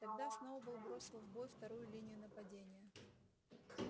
тогда сноуболл бросил в бой вторую линию нападения